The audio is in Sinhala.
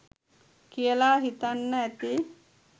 කියලා හිතන්න ඇති